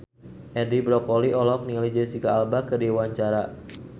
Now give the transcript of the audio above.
Edi Brokoli olohok ningali Jesicca Alba keur diwawancara